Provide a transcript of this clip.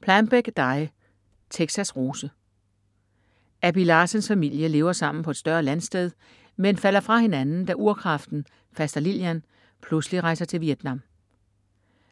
Plambeck, Dy: Texas' rose Abby Larsens familie lever sammen på et større landsted, men falder fra hinanden da urkraften, faster Lillian, pludselig rejser til Vietnam.